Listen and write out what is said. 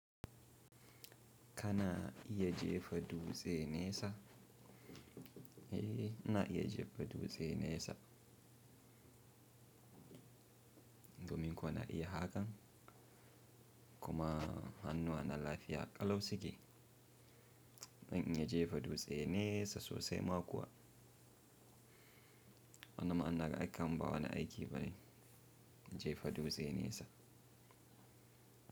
Kana iya jefa dutse nesa? Eh ina iya jefa dutse nesa domin ko na iya hakan kuma hannuwa na lafiya ƙalau suke. Zan in iya jefa dutse nesa sosai ma kuwa. Wannan ma inaga ai kaman ba wani aiki bane jefa dutse nesa.